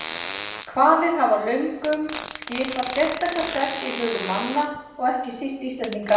Hvalir hafa löngum skipað sérstakan sess í hugum manna og ekki síst Íslendinga.